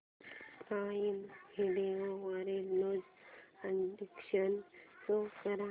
prime Video वरील new additions show कर